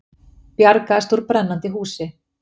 Bjargaðist úr brennandi húsi